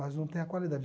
Mas não tem a qualidade.